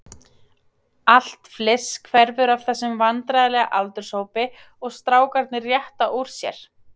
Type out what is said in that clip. Allt fliss hverfur af þessum vandræðalega aldurshópi og strákarnir rétta úr sér.